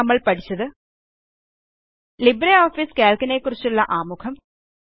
ചുരുക്കത്തിൽ നമ്മൾ പഠിച്ചത് ലിബ്രിയോഫീസുകൾക്ക് നെക്കുറിച്ചുള്ള ആമുഖം